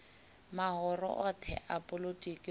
mahoro othe a polotiki uri